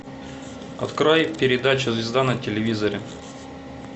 открой передачу звезда на телевизоре